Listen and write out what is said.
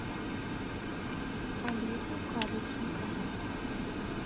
алесю кадочникову